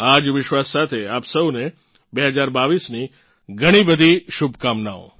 આ જ વિશ્વાસ સાથે આપ સૌને 2022ની ઘણી બધી શુભકામનાઓ